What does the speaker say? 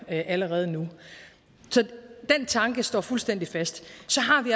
allerede nu så den tanke står fuldstændig fast så